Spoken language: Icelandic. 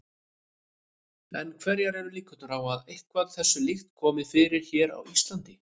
En hverjar eru líkurnar á að eitthvað þessu líkt komi fyrir hér á Íslandi?